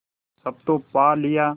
सब तो पा लिया